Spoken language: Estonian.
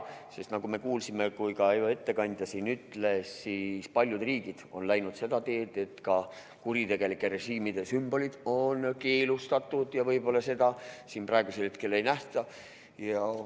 Sest nagu me kuulsime, ka ettekandja siin ütles, on paljud riigid läinud seda teed, et ka kuritegelike režiimide sümbolid on keelustatud, ja võib-olla seda siin praegusel hetkel ei nähta.